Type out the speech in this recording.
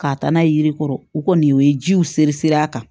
K'a taa n'a ye yiri kɔrɔ o kɔni o ye jiw sere siri a kan